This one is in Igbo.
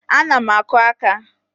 Ana m akụ aka